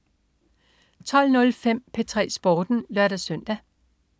12.05 P3 Sporten (lør-søn)